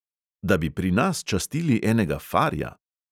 Da bi pri nas častili enega farja?